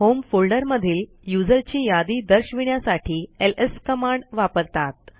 home फोल्डरमधील user ची यादी दर्शविण्यासाठी एलएस कमांड वापरतात